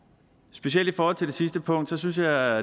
specielt i forhold til de sidste punkt synes jeg